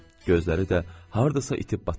Gözləri də hardasa itib batırdı.